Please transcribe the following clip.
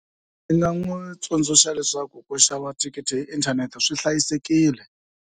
Ndzi nga n'wi tsundzuxa leswaku ku xava thikithi hi inthanete swi hlayisekile.